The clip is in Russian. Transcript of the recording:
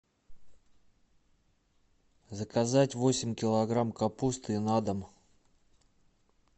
заказать восемь килограмм капусты на дом